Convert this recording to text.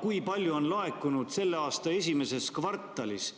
Kui palju on laekunud selle aasta esimeses kvartalis